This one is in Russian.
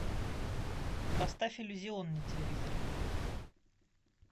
поставь иллюзион на телевизоре